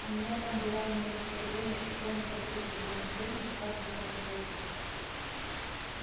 у меня там дела имелись в то время и кроме как через ганзу никак было не пройти